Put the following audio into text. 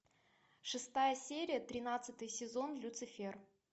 шестая серия тринадцатый сезон люцифер